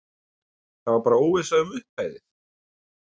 Það var bara óvissa um upphæðir?